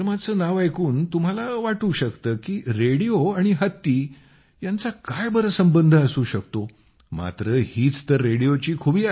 नाव ऐकून तुम्हाला वाटू शकतं की रेडिओ आणि हत्ती यांचा काय बरं संबंध असू शकतो मात्र हीच तर रेडिओची खुबी आहे